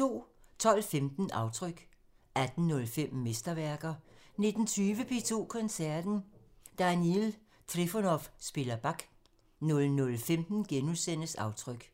12:15: Aftryk 18:05: Mesterværker 19:20: P2 Koncerten – Daniil Trifonov spiller Bach 00:15: Aftryk *